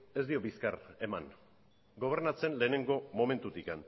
ez dio bizkar eman gobernatzen lehenengo momentutik